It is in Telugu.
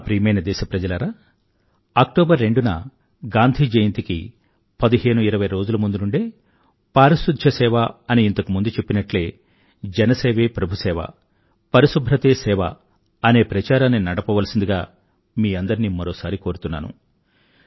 నా ప్రియమైన దేశ ప్రజలారా అక్టోబర్ రెండున గాంధీ జయంతికి పదిహేను ఇరవై రోజుల ముందు నుండే పారిశుధ్య సేవ అని ఇంతకు ముందు చెప్పినట్లే జన సేవే ప్రభు సేవ పరిశుభ్రతే సేవ అనే ప్రచారాన్ని నడపవలసిందిగా మీ అందరినీ మరోసారి కోరుతున్నాను